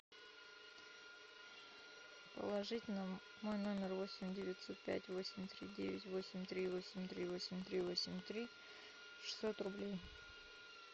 положить на мой номер восемь девятьсот пять восемь три девять восемь три восемь три восемь три восемь три шестьсот рублей